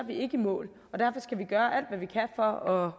vi ikke i mål og